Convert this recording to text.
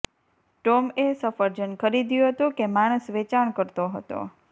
ટોમએ સફરજન ખરીદ્યું હતું કે માણસ વેચાણ કરતો હતો